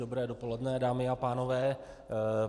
Dobré dopoledne, dámy a pánové.